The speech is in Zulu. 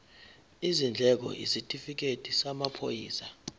izindleko isitifikedi samaphoyisa